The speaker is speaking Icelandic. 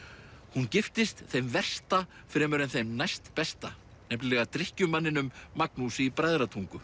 hún giftist þeim versta fremur en þeim næstbesta nefnilega Magnúsi í Bræðratungu